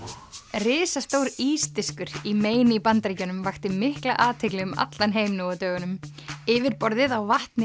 risastór í Maine í Bandaríkjunum vakti mikla athygli um allan heim nú á dögunum yfirborðið á vatni